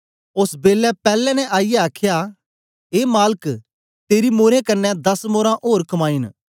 ओस बेलै पैले ने आईयै आखया ए मालक तेरी मोरें कन्ने दस मोरां ओर कमाई न